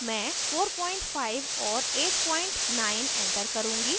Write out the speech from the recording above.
मैं 45 और 89 enter करुँगी